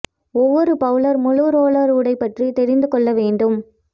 ஒவ்வொரு பவுலர் முழு ரோலர் உடை பற்றி தெரிந்து கொள்ள வேண்டும்